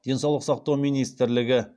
денсаулық сақтау министрлігі